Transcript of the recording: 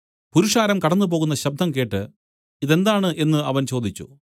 പുരുഷാരം കടന്നുപോകുന്ന ശബ്ദം കേട്ട് ഇതെന്താണ് എന്നു അവൻ ചോദിച്ചു